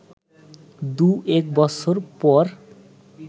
দু এক বছর পর